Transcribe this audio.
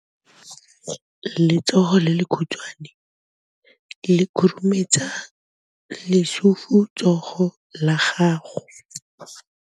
Letsogo le lekhutshwane le khurumetsa lesufutsogo la gago.